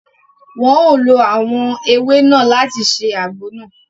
Wọn o ló awọn ewé náà láti ṣe àgbo nàá